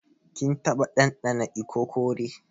Kin taba dandana ikokore?